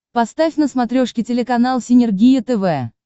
поставь на смотрешке телеканал синергия тв